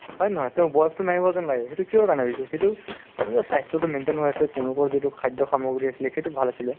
হয় নে নহয় তেওঁৰ বয়সতো নাই হোৱা যেন লাগে সেইটো কিহৰ কাৰণে হৈছে সেইটো তেওঁলোকৰ স্বাস্থ্যতো maintain হৈ আছে তেওঁলোকৰ যিটো খাদ্য সামগ্ৰী আছিলে সেইটো ভাল আছিলে